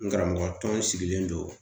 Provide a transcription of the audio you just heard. N karamɔgɔ tɔn sigilen don